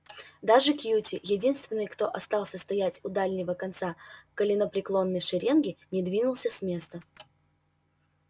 даже кьюти единственный кто остался стоять у дальнего конца коленопреклоненной шеренги не двинулся с места